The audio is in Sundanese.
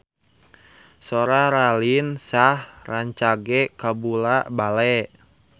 Sora Raline Shah rancage kabula-bale